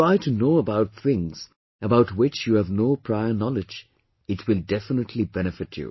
Try to know about things about which you have no prior knowledge, it will definitely benefit you